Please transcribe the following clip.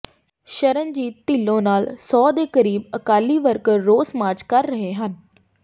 ਸ਼ਰਨਜੀਤ ਢਿੱਲੋਂ ਨਾਲ ਸੌ ਦੇ ਕਰੀਬ ਅਕਾਲੀ ਵਰਕਰ ਰੋਸ ਮਾਰਚ ਕਰ ਰਹੇ ਹਨ